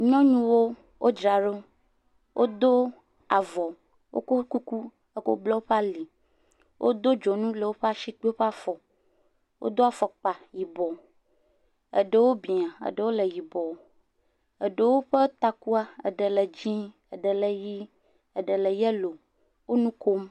Nyɔnuwo dzra ɖo, wodo avɔ, wokɔ kuku kɔ bla woƒe ali. Wodo dzoŋu ɖe woƒe asi kple woƒe afɔ. Wodo afɔkpa yi bɔ, eɖewo bɛ̃a, eɖewo le yibɔ. Eɖewo ƒe takua, eɖe le dzɛ, ɖe le ʋie, eɖele yelo. Wo nu kkom.